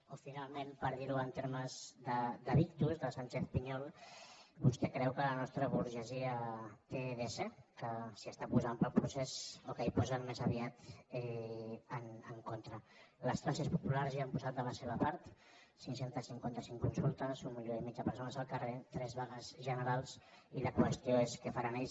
o finalment per dir ho en termes de victuschez piñol vostè creu que la nostra burgesia té dese que s’hi està posant pel procés o que s’hi posen més aviat en contra les classes populars hi han posat de la seva part cinc cents i cinquanta cinc consultes un milió i mig de persones al carrer tres vagues generals i la qüestió és què faran ells